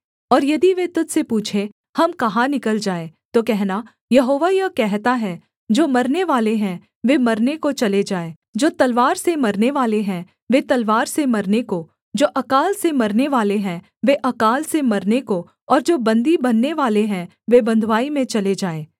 और यदि वे तुझ से पूछें हम कहाँ निकल जाएँ तो कहना यहोवा यह कहता है जो मरनेवाले हैं वे मरने को चले जाएँ जो तलवार से मरनेवाले हैं वे तलवार से मरने को जो अकाल से मरनेवाले हैं वे आकाल से मरने को और जो बन्दी बननेवाले हैं वे बँधुआई में चले जाएँ